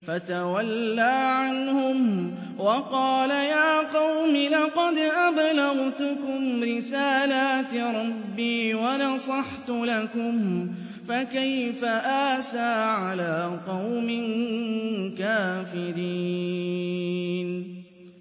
فَتَوَلَّىٰ عَنْهُمْ وَقَالَ يَا قَوْمِ لَقَدْ أَبْلَغْتُكُمْ رِسَالَاتِ رَبِّي وَنَصَحْتُ لَكُمْ ۖ فَكَيْفَ آسَىٰ عَلَىٰ قَوْمٍ كَافِرِينَ